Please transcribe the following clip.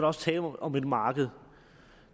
også tale om et marked